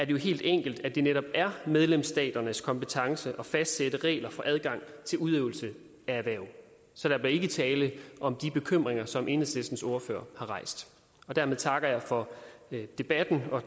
jo helt enkelt at det netop er medlemsstaternes kompetence at fastsætte regler for adgang til udøvelse af erhverv så der bliver ikke tale om de bekymringer som enhedslistens ordfører har rejst dermed takker jeg for debatten og